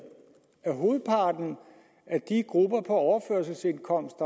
at hovedparten af de grupper på overførselsindkomst